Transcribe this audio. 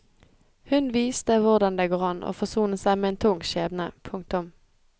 Hun viste hvordan det går an å forsone seg med en tung skjebne. punktum